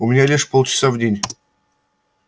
у меня лишь полчаса в день